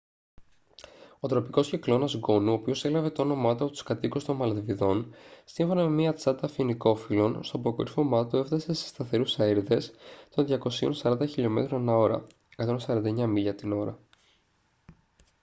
ο τροπικός κυκλώνας γκόνου ο οποίος έλαβε το όνομά του από τους κάτοικους των μαλδιβών σύμφωνα με μια τσάντα φοινικόφυλλων στο αποκορύφωμά του έφτασε σε σταθερούς αέρηδες των 240 km/h 149 μίλια την ώρα